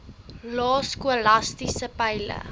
lae skolastiese peile